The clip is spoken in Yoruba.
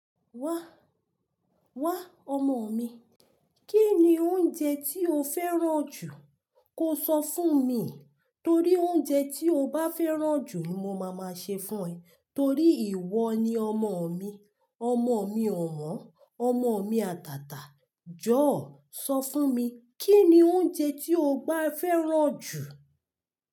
Wa, wa ọmọ mi. Kí ni oúnjẹ tí o fẹ́ràn jù? Ko so fún mi, torí oúnjẹ tí o bá fẹ́ràn jù, ni mo ma ma ṣe fún e, torí ìwọ ni ọmọ mi, ọmọ mi ọ̀won, ọmọ mi àtàtà. Jọ̀ọ̀, sọ fún mi, kí ni oúnjẹ tí o bá fẹ́ràn jù?